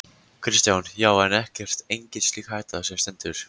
Kristján: Já, en ekkert, engin slík hætta sem stendur?